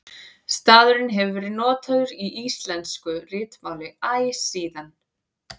Stafurinn hefur verið notaður í íslensku ritmáli æ síðan.